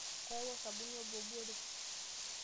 Ayawua osabuni obo obore.